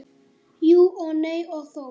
Jú og nei og þó.